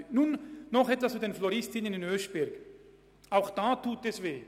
Nun noch etwas zu den Floristinnen in Oeschberg: Auch da tut es weh.